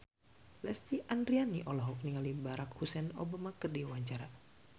Lesti Andryani olohok ningali Barack Hussein Obama keur diwawancara